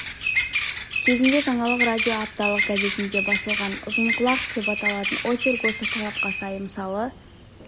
кезінде жаңалық радио апталық газетінде басылған ұзынқұлақ деп аталатын очерк осы талапқа сай мысал